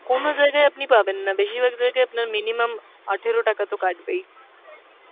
কোন জায়গায় আপনি পাবেন না, বেশিরভাগ জায়গায় আপনার minimum আঠেরো টাকা তো কাটবেই।